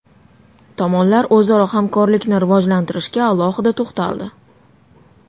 Tomonlar o‘zaro hamkorlikni rivojlantirishga alohida to‘xtaldi.